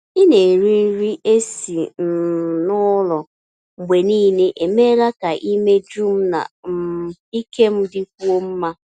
Ị na-eri nri esi um n'ụlọ mgbe niile emeela ka imeju m na um ike m dịkwuo mma.